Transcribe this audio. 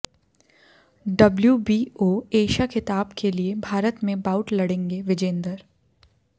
WBO Asia खिताब के लिये भारत में बाउट लड़ेंगे विजेंदर